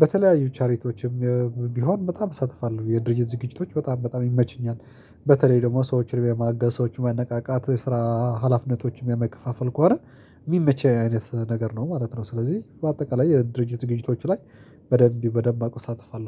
በተለያዩ ቻሬቶችም ቢሆን በጣም እሳተፋለሁ የድርጅት ዝግጅቶች በጣም በጣም ይመቹኛል። በተለይ ደግሞ ሰዎችን የማገዝ ሰዎችን ማነቃቃት ስራ ሀላፊነቶችም የመከፋፈል ከሆነ የሚመች አይነት ነገር ነው ማለት ነው። ስለዚህ በአጠቃላይ የድርጅት ዝግጅቶች ላይ በደንብ በደንብ አቆ እሳተፋለሁ